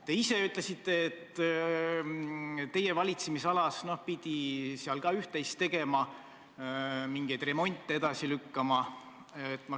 Te ise ütlesite, et teie valitsemisalas pidi ka üht-teist tegema, mingeid remonte edasi lükkama.